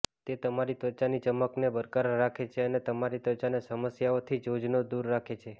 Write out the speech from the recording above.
તે તમારી ત્વચાની ચમકને બરકરાર રાખે છે અને તમારી ત્વચાને સમસ્યાઓથી જોજનો દૂર રાખે છે